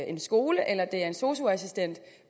en skole eller en sosu assistent